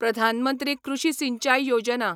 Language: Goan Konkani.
प्रधान मंत्री कृषी सिंचाय योजना